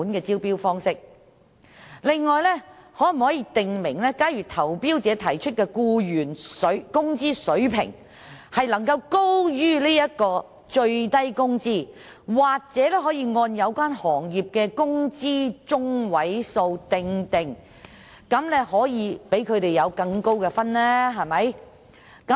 此外，可否訂明，如果投標者提出的僱員工資水平高於最低工資，又或按有關行業的工資中位數釐定，便會獲得更高的分數？